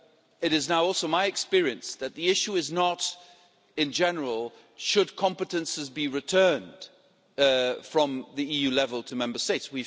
It is now also my experience that the issue is not, in general, should competences be returned from the EU level to Member States?